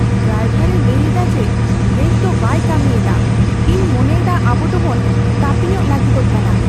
Driver ᱮ ᱞᱟᱹᱭ ᱮᱫᱟ ᱡᱮ ᱵᱨᱮᱠ ᱫᱚ ᱵᱟᱭ ᱠᱟᱹᱢᱤ ᱮᱫᱟ ᱾ ᱤᱧ ᱢᱚᱱᱮᱭᱮᱫᱟ ᱟᱵᱚ ᱫᱚ ᱵᱚᱱ ᱛᱟᱹᱯᱤᱧᱚᱜ ᱞᱟᱹᱜᱤᱫᱚᱜ ᱠᱟᱱᱟ ᱾